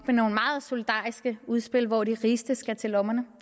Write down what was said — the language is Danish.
nogle meget solidariske udspil hvor de rigeste skal til lommerne